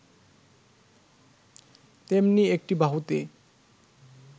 তেমনি একটি বাহুতে